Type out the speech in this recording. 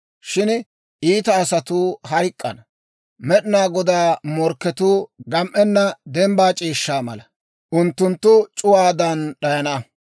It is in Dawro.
Shin iita asatuu hayk'k'ana. Med'inaa Godaa morkketuu gam"enna dembbaa c'iishshaa mala; unttunttu c'uwaadan d'ayana.